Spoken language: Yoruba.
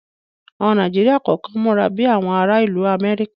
Àwọn ara Nàíjíríà kọ̀kan múra bi àwọn ara ìlú Amẹ́ríkà